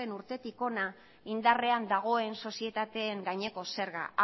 urtetik hona indarrean dagoen sozietateen gaineko zerga